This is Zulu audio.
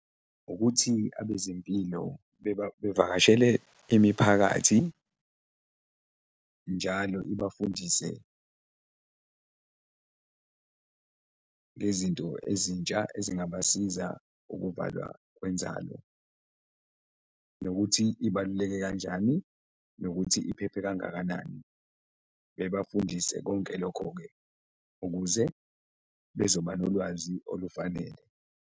Ukuthi abezempilo bevakashele imiphakathi njalo ibafundise ngezinto ezintsha ezingabasiza ukuvalwa kwenzalo nokuthi ibaluleke kanjani nokuthi iphephe kangakanani, bebafundise konke lokho-ke ukuze bezoba nolwazi olufanele.